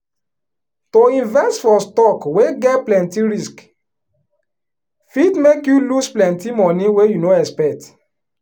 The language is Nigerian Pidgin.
to invest for stock wey get plenty risk fit make you lose plenty money wey you no expect.